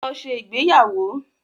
Lọ ṣe ìgbéyàwó.